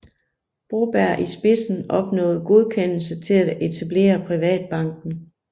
Broberg i spidsen opnåede godkendelse til at etablere Privatbanken